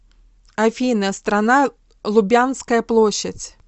афина страна лубянская площадь